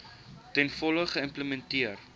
ten volle geïmplementeer